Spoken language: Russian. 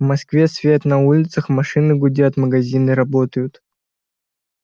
в москве свет на улицах машины гудят магазины работают